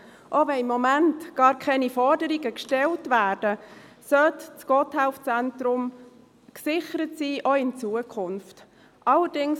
Auch wenn im Moment gar keine Forderungen gestellt werden, sollte das Gotthelf-Zentrum auch in Zukunft gesichert sein.